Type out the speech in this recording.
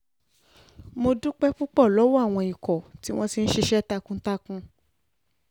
mo dúpẹ́ púpọ̀ lọ́wọ́ àwọn ikọ̀ tí wọ́n ti ń ṣiṣẹ́ takuntakun